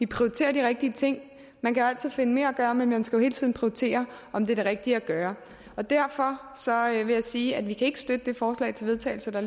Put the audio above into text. prioriterer de rigtige ting man kan altid finde mere at gøre men man skal jo hele tiden prioritere om det er det rigtige at gøre derfor vil jeg sige at vi ikke kan støtte det forslag til vedtagelse der